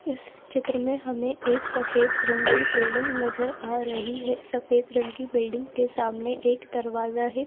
इस चित्र में हमें एक सफेद रंग की बिल्डिंग नजर आ रही है सफेद रंग की बिल्डिंग के सामने एक दरवाजा है।